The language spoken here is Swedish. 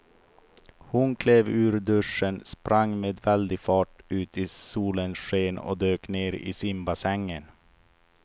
Hon klev ur duschen, sprang med väldig fart ut i solens sken och dök ner i simbassängen.